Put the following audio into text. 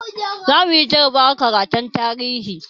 Zamuyi jarabawar karatun tarihi